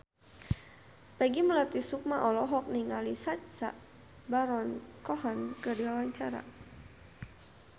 Peggy Melati Sukma olohok ningali Sacha Baron Cohen keur diwawancara